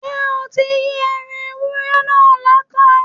Ṣé o ti Yí ẹran ewúré náà láta?